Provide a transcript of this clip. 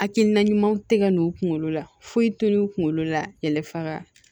Hakilina ɲumanw tɛ ka n'u kunkolo la foyi to n'u kunkolo la yɛlɛfaga